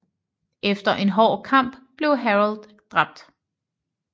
Efter en hård kamp blev Harold dræbt